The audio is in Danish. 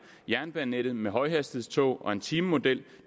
jernbanenettet med højhastighedstog og en timemodel